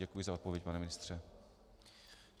Děkuji za odpověď, pane ministře.